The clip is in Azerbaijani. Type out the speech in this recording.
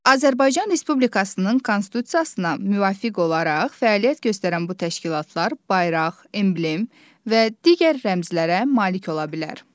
Azərbaycan Respublikasının Konstitusiyasına müvafiq olaraq fəaliyyət göstərən bu təşkilatlar bayraq, emblem və digər rəmzlərə malik ola bilər.